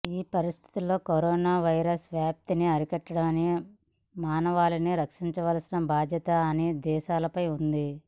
ఈ పరిస్థితుల్లో corona virus వ్యాప్తిని అరికట్టి మానవాళిని రక్షించవలసిన బాధ్యత అన్ని దేశాలపై ఉంది